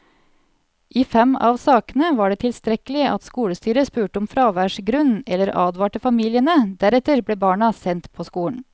I fem av sakene var det tilstrekkelig at skolestyret spurte om fraværsgrunn eller advarte familiene, deretter ble barna sendt på skolen.